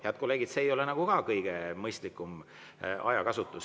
Head kolleegid, see ei ole ka kõige mõistlikum ajakasutus.